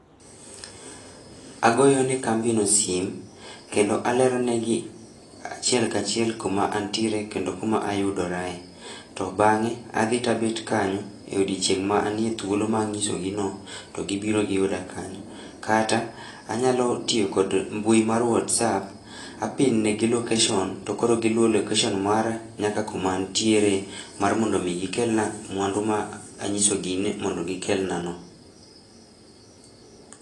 Agoyo ne kambino sim, kendo alero negi, achiel kachiel kuma antiere kendo kuma ayudorae. To bang'e, adhi tabet kanyo, e odiechieng' ma anie thuolo ma ang'iso gi no, to gibiro giyuda kanyo. Kata, anyalo tiyo kod mbui mar WhatsApp, a pin negi location to koro giluwo location mara nyaka kuma antiere mara mondo mi gikelna mwandu ma a anyisogi ni mondo gikelna no